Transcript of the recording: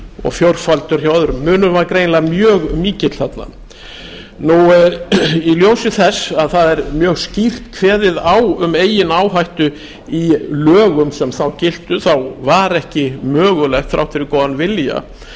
og fjórfaldur hjá öðrum munurinn var greinilega mjög mikill þarna í ljósi þess að það er mjög skýrt kveðið á um eigin áhættu í lögum sem þá giltu þá var ekki mögulegt þrátt fyrir góðan vilja